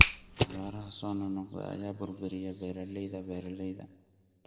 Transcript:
Abaaraha soo noqnoqda ayaa burburiya beeraleyda beeralayda.